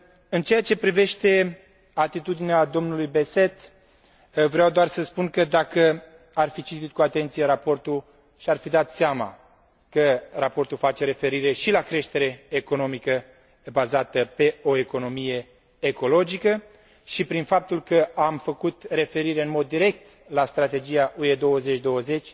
În ceea ce privește atitudinea domnului Besset, vreau doar să spun că, dacă ar fi citit cu atenție raportul, și ar fi dat seama că raportul face referire și la creștere economică bazată pe o economie ecologică și, prin faptul că am făcut referire în mod direct la strategia UE 2020,